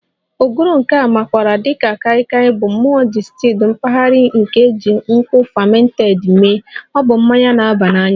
Ogogoro nke a makwaara dị ka Kai Kai Bụ mmụọ distilled mpaghara nke e ji nkwụ fermented mee, ọ bụ mmanya na-aba n'anya